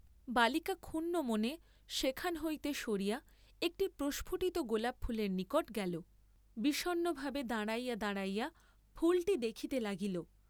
বালিকা ক্ষুণ্নমনে সেখান হইতে সরিয়া একটি প্রস্ফুটিত গোলাপ ফুলের নিকট গেল; বিষণ্নভাবে দাঁড়াইয়া দাঁড়াইয়া ফুলটি দেখিতে লাগিল।